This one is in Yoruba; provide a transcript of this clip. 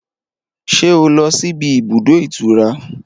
Ṣé o lọ síbi ibùdó ìtura?